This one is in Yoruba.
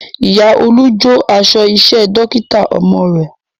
Ìyá Olú jó aṣọ iṣẹ́ Dókítà ọmọ rẹ̀